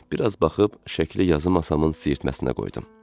Bir az baxıb şəkli yazı masamın siyirtməsinə qoydum.